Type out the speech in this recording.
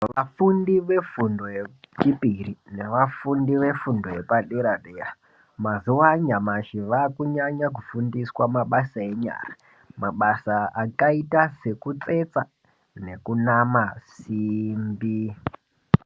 Vafundi vefundo yechipiri nevafundi vefundo yepa dera dera mazuva anyamashi vakunyanya kufundiswa mabasa enyara mabasa akaita sekutsetsa nekunama simbi.